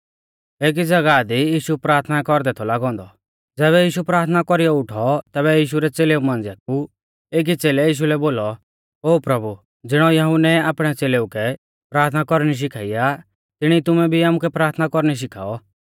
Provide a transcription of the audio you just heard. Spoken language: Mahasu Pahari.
एकी ज़ागाह दी यीशु प्राथना कौरदै थौ लागौ औन्दौ ज़ैबै यीशु प्राथना कौरीयौ उठौ तैबै यीशु रै च़ेलेऊ मांझ़िया कु एकी च़ेलै यीशु लै बोलौ ओ प्रभु ज़िणौ यहुन्नै आपणै च़ेलेऊ कै प्राथना कौरणी शिखाई आ तिणी तुमै भी आमुकै प्राथना कौरणी शिखाऔ